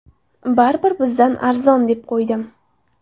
Baribir, bizdan arzon, deb qo‘ydim.